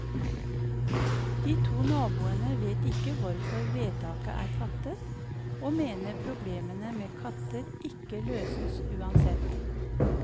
De to naboene vet ikke hvorfor vedtaket er fattet, og mener problemene med katter ikke løses uansett.